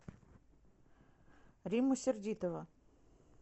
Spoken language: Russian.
римма сердитова